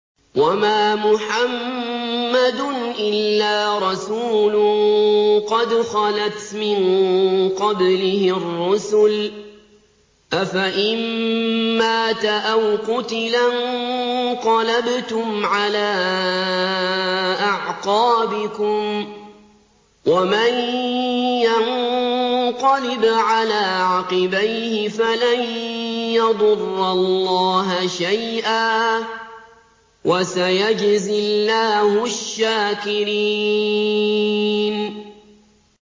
وَمَا مُحَمَّدٌ إِلَّا رَسُولٌ قَدْ خَلَتْ مِن قَبْلِهِ الرُّسُلُ ۚ أَفَإِن مَّاتَ أَوْ قُتِلَ انقَلَبْتُمْ عَلَىٰ أَعْقَابِكُمْ ۚ وَمَن يَنقَلِبْ عَلَىٰ عَقِبَيْهِ فَلَن يَضُرَّ اللَّهَ شَيْئًا ۗ وَسَيَجْزِي اللَّهُ الشَّاكِرِينَ